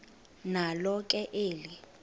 nalo ke eli